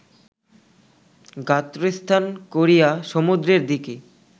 গাত্রোত্থান করিয়া সমুদ্রের দিকে